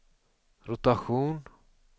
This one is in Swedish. rotation